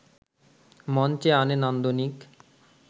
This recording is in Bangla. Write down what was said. মঞ্চে আনে নান্দনিক